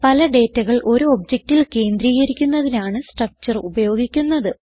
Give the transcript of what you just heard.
പല ഡേറ്റകൾ ഒരു ഒബ്ജക്റ്റിൽ കേന്ദ്രീകരിക്കുന്നതിനാണ് സ്ട്രക്ചർ ഉപയോഗിക്കുന്നത്